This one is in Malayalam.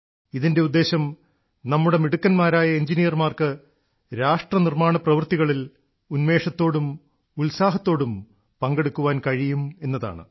ഇതിന്റെ ഉദ്ദേശ്യം നമ്മുടെ മിടുക്കന്മാരായ എഞ്ചിനീയർമാർക്ക് രാഷ്ട്ര നിർമ്മാണ പ്രവർത്തികളിൽ ഉന്മേഷത്തോടും ഉത്സാഹത്തോടും പങ്കെടുക്കാൻ കഴിയും എന്നതാണ്